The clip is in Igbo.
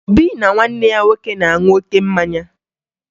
Obi na nwanne ya nwoke na-aṅụ oke mmanya